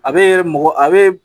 A be mɔgɔ a be